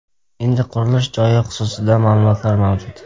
Endi qurilish joyi xususida ma’lumotlar mavjud.